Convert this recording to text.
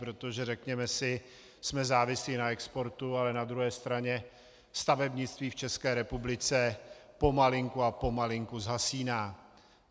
Protože řekněme si, jsme závislí na exportu, ale na druhé straně stavebnictví v České republice pomalinku a pomalinku zhasíná.